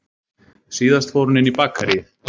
Síðan fór hún inn í bakaríið